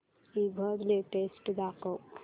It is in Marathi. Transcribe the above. ईबझ लेटेस्ट दाखव